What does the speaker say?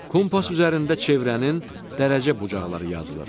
Kompas üzərində çevrənin dərəcə bucaqları yazılır.